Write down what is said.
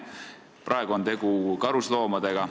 Praegu on tegu karusloomadega.